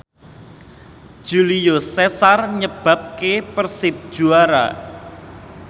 Julio Cesar nyebabke Persib juara